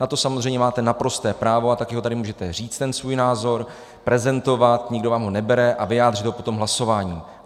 Na to samozřejmě máte naprosté právo a také ho tady můžete říct, ten svůj názor prezentovat, nikdo vám ho nebere, a vyjádřit ho potom hlasováním.